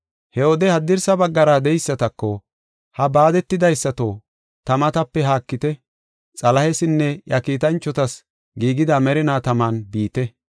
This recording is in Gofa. “He wode haddirsa baggara de7eysatako, ‘Ha baadetidaysato, ta matape haakite. Xalahesinne iya kiitanchotas giigida merinaa taman biite.